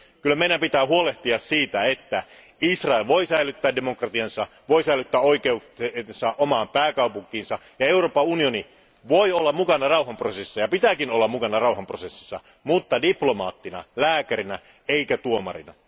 Kyllä meidän pitää huolehtia siitä, että Israel voi säilyttää demokratiansa ja oikeutensa omaan pääkaupunkiinsa, ja Euroopan unioni voi olla mukana rauhanprosessissa, ja pitääkin olla mukana rauhanprosessissa, mutta diplomaattina lääkärinä eikä tuomarina.